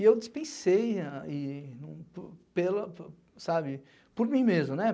E eu dispensei, ah e pela, sabe, por mim mesmo, né?